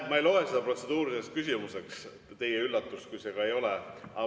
Ma ei loe seda protseduuriliseks küsimuseks, kui suur teie üllatus ka ei ole.